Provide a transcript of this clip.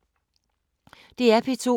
DR P2